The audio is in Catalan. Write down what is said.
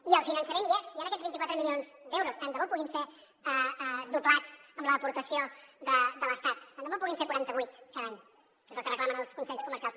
i el finançament hi és hi han aquests vint quatre milions d’euros tant de bo puguin ser doblats amb l’aportació de l’estat tant de bo puguin ser quaranta vuit cada any que és el que reclamen els consells comarcals